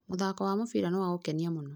Mũthako wa mũbira nĩ wa gũkenia mũno.